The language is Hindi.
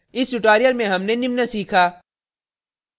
इस tutorial में हमने निम्न सीखा